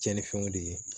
Cɛnnifɛnw de ye